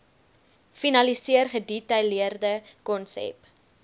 finaliseer gedetailleerde konsep